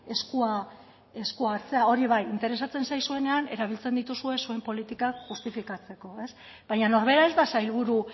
eskua hartzea hori bai interesatzen zaizuenean erabiltzen dituzue zuen politika justifikatzeko baina norbera ez da sailburu